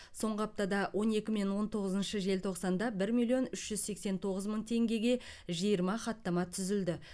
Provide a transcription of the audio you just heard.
соңғы аптада он екі мен он тоғызыншы желтоқсанда бір миллион үш жүз сексен тоғыз мың теңгеге жиырма хаттама түзілді